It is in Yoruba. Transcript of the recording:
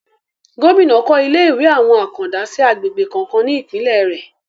Gómìnà kọ́ ilé ìwé àwọn àkàndá sí agbègbè kọ̀ọ̀kan ní Ìpínlẹ̀ rẹ̀